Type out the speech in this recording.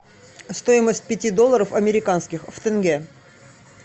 стоимость пяти долларов американских в тенге